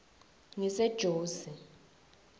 ngisejozi